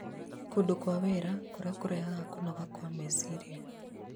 Kũndũ kwa wĩra kũrĩa kũrehaga kũnoga kwa meciria